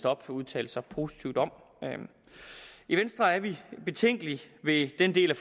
op udtalte sig positivt om i venstre er vi betænkelige ved den del af